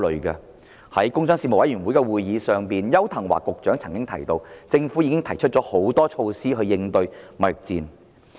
在工商事務委員會會議上，商務及經濟發展局局長邱騰華曾經提到，政府已提出多項措施應對貿易戰。